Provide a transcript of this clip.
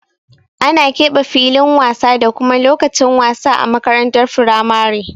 Ana keɓe filin wasa da kuma lokacin wasa a makarantar firamare.